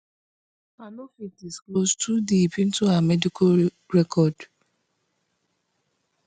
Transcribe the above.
i no fit disclose too deep into her medical record